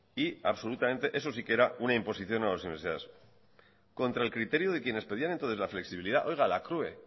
y absolutamente eso si que era una imposición a las universidades contra el criterio que quienes pedían entonces la flexibilidad oiga la crue